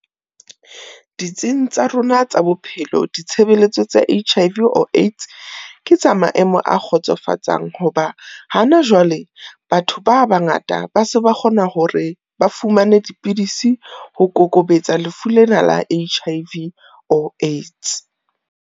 Ditsing tsa rona tsa bophelo, ditshebeletso tsa H_I_V or AIDS ke tsa maemo a kgotsofatsang, ho ba hana jwale, batho ba bangata ba se ba kgona hore ba fumane dipidisi, ho kokobetsa lefu lena la H_I_V or AIDS.